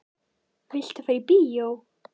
Viltu fara í bíó?